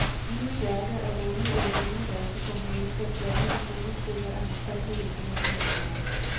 Nye værker af unge eller yngre danske komponister blandet med solostykker af markante internationale navne.